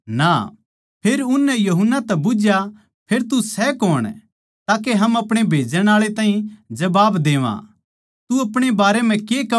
फेर उननै यूहन्ना तै बुझ्झया फेर तू सै कौण ताके हम अपणे भेजण आळा ताहीं जबाब देवां तू अपणे बारै म्ह के कहवै सै